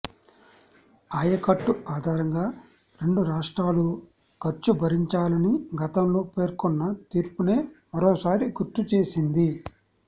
ఆయకట్టు ఆధారంగా రెండు రాష్ట్రాలు ఖర్చు భరించాలని గతంలో పేర్కొన్న తీర్పునే మరోసారి గుర్తుచేసింది